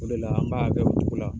O de la an b'a a kɛ o cogo la.